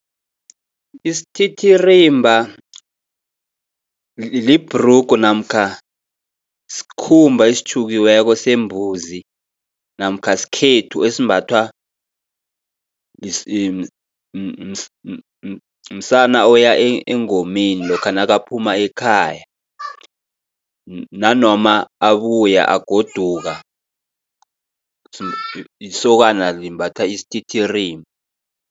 Isititirimba libhrugu namkha sikhumba esitjhukiweko sembuzi, namkha skhethu esimbathwa msana oya engomeni lokha nakaphuma ekhaya. Nanoma abuya, agoduka isokana limbatha isititirimba.